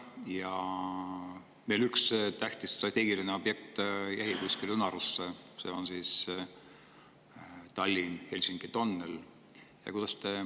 Aga üks tähtis strateegiline objekt on jäänud unarusse, see on Tallinna–Helsingi tunnel.